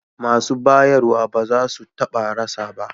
Masu bayarwa ba za su taɓa rasa ba